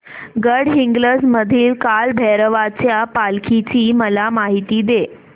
गडहिंग्लज मधील काळभैरवाच्या पालखीची मला माहिती दे